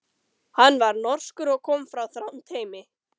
Hann var norskur og kom frá Þrándheimi.